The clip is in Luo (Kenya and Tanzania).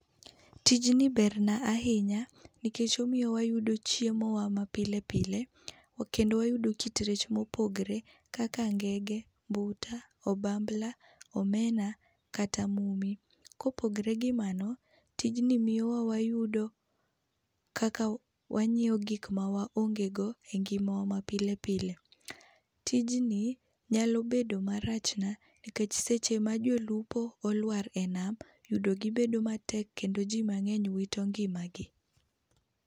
Tij ni berna ahinya nikech omiyo wayudo chiemo wa mapilepile kendo wayudo kit rech mopogore kaka ngege, mbuta, obambla, omena kata mumi .Kopogre gi mano ,tijni miyo wanyiewo gik ma waonge go e ngimawa mapilepile .Tijni nyalo bedo marachna ,nikech seche ma jolupo olwar e nam yudo gi bedo matek kendo jii mang'eny wito ngimagi.